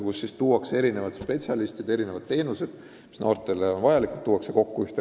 Noortele vajalikud erinevad spetsialistid, erinevad teenused on koondatud ühte kohta.